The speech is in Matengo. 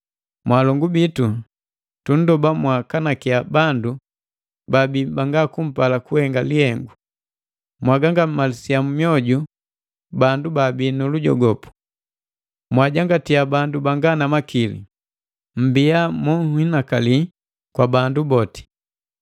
Mwaalongu bitu tunndoba mwaakanakiya bandu baabi banga kupala kuhenga lihengu, mwaagangamalisa mioju bandu babii nu lujogopu, mwajangatia bandu banga na makili, mmbia monhinakali kwa bandu boti.